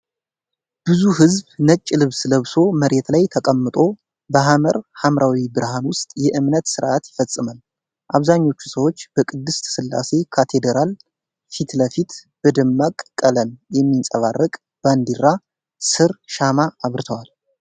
ብዙ ሕዝብ ነጭ ልብስ ለብሶ መሬት ላይ ተቀምጦ፣ በሐመር ሐምራዊ ብርሃን ውስጥ የእምነት ሥርዓት ይፈጽማል። አብዛኞቹ ሰዎች በቅድስት ሥላሴ ካቴድራል ፊት ለፊት በደማቅ ቀለም የሚንፀባረቅ ባንዲራ ስር ሻማ አብርተዋል።